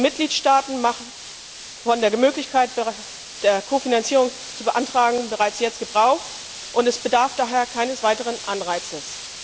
Die Mitgliedstaaten machen von der Möglichkeit, Kofinanzierung zu beantragen, bereits jetzt Gebrauch, und es bedarf daher keines weiteren Anreizes.